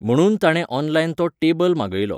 म्हणून ताणें ऑनलायन तो टेबल मागयलो.